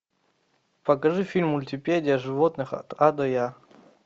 покажи фильм мультипедия животных от а до я